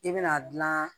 I bɛna gilan